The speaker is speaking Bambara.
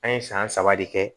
An ye san saba de kɛ